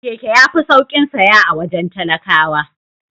Keke yafi saukin saya a wajen talakawa.